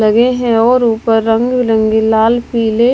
लगे हैं और ऊपर रंग बिरंगे लाल पीले--